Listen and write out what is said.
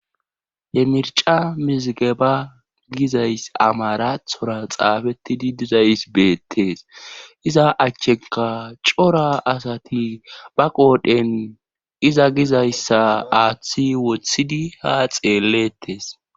Yemirca mizige ba gizays amarathora xaabettidi dizays beettees iza achcheka cora asati ba qoodhen iza gizayssa aaththi wothidi ha xeelettes